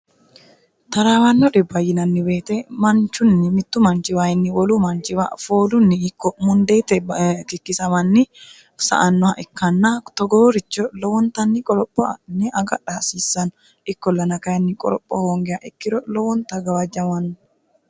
taraawanno dhibba yinanni woyete manchunni mittu manchiwaayinni wolu manchiwa foolunni ikko mundeete kikkisamanni sa"annoha ikkanna togooricho lowontanni qoropho adhinne agadha hasiissanno ikkollana kayinni qoropho hoongiha ikkiro lowonta gawajjamanno.